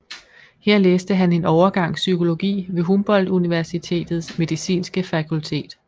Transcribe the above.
Her læste han en overgang psykologi ved Humboldt Universitetets medicinske fakultet